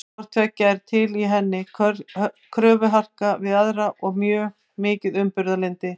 Hvort tveggja er til í henni, kröfuharka við aðra og mjög mikið umburðarlyndi.